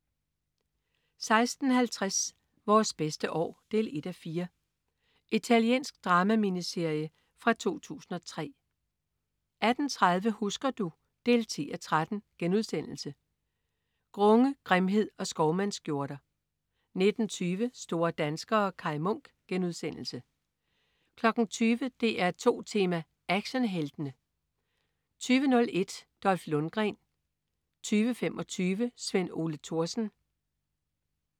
16.50 Vores bedste år 1:4. Italiensk drama-miniserie fra 2003 18.30 Husker du? 10:13.* Grunge, grimhed og skovmandsskjorter 19.20 Store danskere. Kaj Munk* 20.00 DR2 Tema: Actionheltene 20.01 Dolph Lundgren 20.25 Sven Ole Thorsen